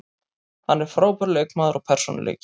Hann er frábær leikmaður og persónuleiki.